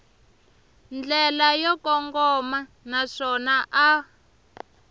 ndlela yo kongoma naswona a